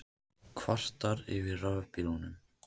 Kvartar yfir rafbílnum